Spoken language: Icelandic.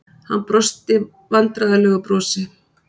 Hann brosti vandræðalegu brosi.